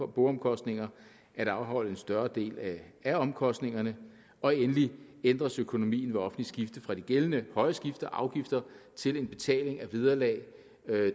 boomkostninger at afholde en større del af af omkostningerne og endelig ændres økonomien ved offentligt skifte fra de gældende høje skifteafgifter til en betaling af vederlag